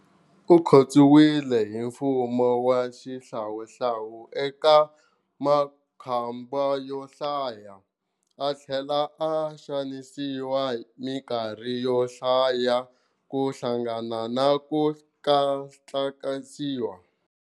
Ukhotsiwile hi mfumo wa xihlawuhlawu eka makhamba yo hlaya, athlela a xanisiwa minkarhi yohlaya kuhlanganisa na ku thlakisiwa.